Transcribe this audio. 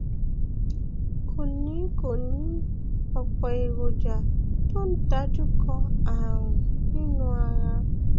kò ní kò ní ọpọ èròjà tó ń dojúkọ ààrùn nínú ara